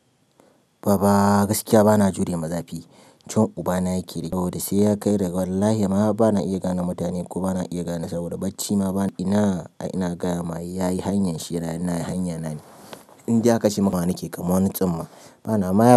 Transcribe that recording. Baba gaskiya bana jure ma zafi. Cin uba na yake yi saboda sai ya kai da wallahi ma bana iya gane mutane ko bana iya gane saboda bacci ma bana. Ina ai ina gaya ma yayi hanyar shi nayi--nayi hanya na ne. Indai aka ce ya nake kamar wa ni tsumma bana ma.